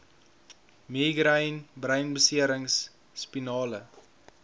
migraine breinbeserings spinale